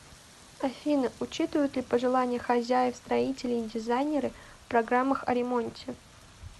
афина учитывают ли пожелания хозяев строители и дизайнеры в программах о ремонте